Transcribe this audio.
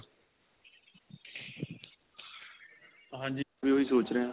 ਹਾਂਜੀ ਮੈਂ ਓਹੀ ਸੋਚ ਰਿਹਾਂ .